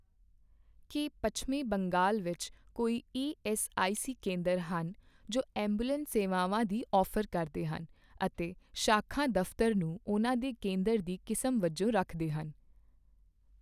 ਕੀ ਪੱਛਮੀ ਬੰਗਾਲ ਵਿੱਚ ਕੋਈ ਈਐੱਸਆਈਸੀ ਕੇਂਦਰ ਹਨ ਜੋ ਐਂਬੂਲੈਂਸ ਸੇਵਾਵਾਂ ਦੀ ਔਫ਼ਰ ਕਰਦੇ ਹਨ ਅਤੇ ਸ਼ਾਖਾ ਦਫ਼ਤਰ ਨੂੰ ਉਹਨਾਂ ਦੇ ਕੇਂਦਰ ਦੀ ਕਿਸਮ ਵਜੋਂ ਰੱਖਦੇ ਹਨ?